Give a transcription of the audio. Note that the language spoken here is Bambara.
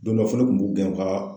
Don dɔ fɔ ne kun b'u gɛn ka